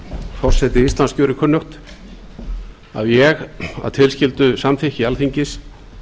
forseti íslands gjörir kunnugt að ég að tilskildu samþykki alþingis